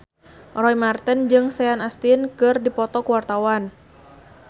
Roy Marten jeung Sean Astin keur dipoto ku wartawan